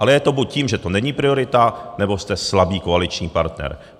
Ale je to buď tím, že to není priorita, nebo jste slabý koaliční partner.